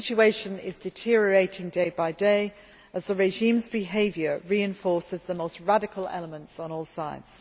The situation is deteriorating day by day as the regime's behaviour reinforces the most radical elements on all sides.